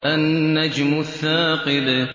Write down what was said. النَّجْمُ الثَّاقِبُ